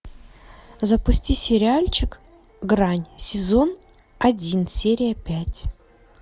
запусти сериальчик грань сезон один серия пять